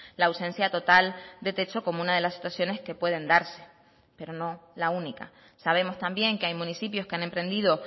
la ausencia total de techo como una de las situaciones que pueden darse pero no la única sabemos también que hay municipios que han emprendido